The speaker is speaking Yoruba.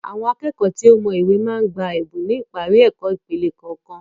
Àwọn akẹ́kọ̀ọ́ tí ó mọ ìwé máa ń gba Ẹ̀bùn ni ipari ẹ̀kọ́ ìpele kọ̀ọ̀kan